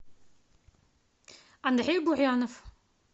андрей бурянов